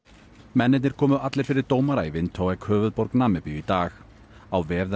mennirnir komu allir fyrir dómara í Windhoek höfuðborg Namibíu í dag á vef